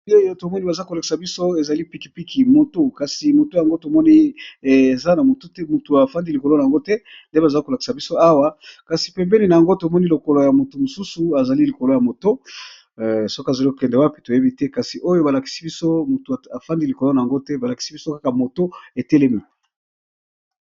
Awa tomoni baza kolakisa biso ezali pikipiki moto kasi moto yango tomoni eza tukutuku, mutu avandi likolo na yango te nde bazala kolakisa biso awa kasi pembene na yango tomoni lokolo ya moto mosusu azali likolo ya moto soki azali kokende wapi toyebi te kasi oyo balakisi biso motu afandi likolo na yango te balakisi biso kaka moto etelemi.